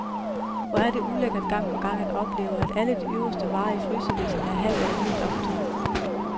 Hvor det ulækkert gang på gang at opleve, at alle de øverste varer i frysediskene er halvt eller helt optøet.